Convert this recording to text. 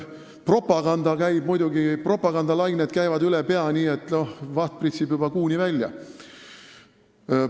Propagandalained käivad muidugi üle pea, nii et vaht pritsib juba Kuuni välja.